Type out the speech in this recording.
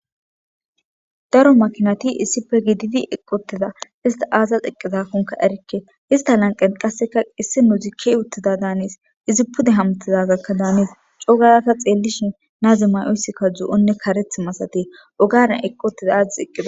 daro makinati issife gididi eqqi utida ista aazas eqqizakkonka erikke ista lanqen qasseka issi nozik ke7i uttida daanees izi pude hamtizazakka daanis cogarata xeellishin naazi may7oyssikka zo7onne karethi masatees ogara eqqotiza addetti eqqida